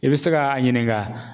I bɛ se ka a ɲininka